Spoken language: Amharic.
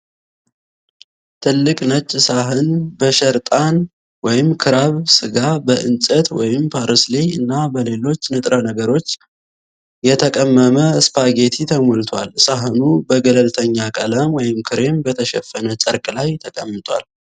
ትልቅ ነጭ ሳህን በሸርጣን (ክራብ) ስጋ፣ በእጽዋት (ፓርስሌይ) እና በሌሎች ንጥረ ነገሮች የተቀመመ ስፓጌቲ ተሞልቷል። ሳህኑ በገለልተኛ ቀለም (ክሬም) በተሸፈነ ጨርቅ ላይ ተቀምጧል።